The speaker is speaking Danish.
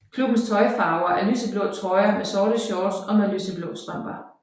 Klubbens tøjfarver er lyseblå trøjer med sorte shorts og med lyseblå strømper